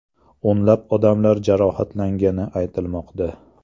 O‘nlab odamlar jarohatlangani aytilmoqda.